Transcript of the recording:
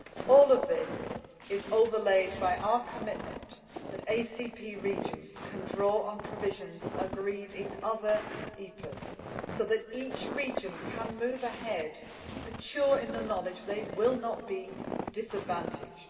All of this is overlaid by our commitment that ACP regions can draw on provisions agreed in other EPAs, so that each region can move ahead secure in the knowledge it will not be disadvantaged.